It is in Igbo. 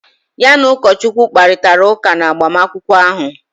Ya na ụkọchukwu kparịtara ụka n'agbamakwụkwọ ahụ